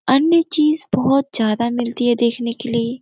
अन्य चीज बहोत ज्यादा मिलती है देखने के लिए।